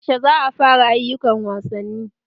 Yaushe za'a fara ayyukan wasanni?